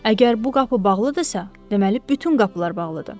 Əgər bu qapı bağlıdırsa, deməli bütün qapılar bağlıdır.